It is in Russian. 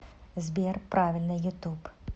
сбер правильно ютуб